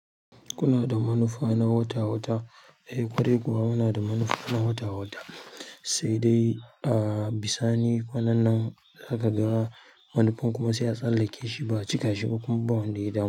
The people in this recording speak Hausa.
Kunada manufa na wata wata, eh ƙwarai kuwa munada manufa na wata wata sai dai ah, bi sa ni waɗannan nan za ka ga wani fun kuma se a tsallakeshi ba a cikashiba kuma ba wanda ya damu.